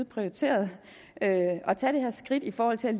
prioriteret at tage det her skridt i forhold til